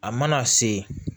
A mana se